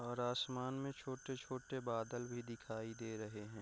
और आसमान में छोटे-छोटे बादल भी दिखाई दे रहें हैं ।